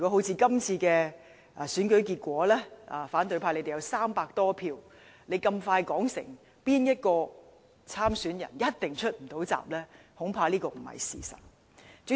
在今次選舉中，即使反對派手握300多票，他們很早便說某位參選人一定無法出閘。